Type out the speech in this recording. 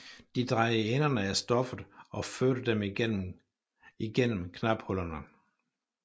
De drejede enderne af stoffet og førte dem igennem igennem knaphullerne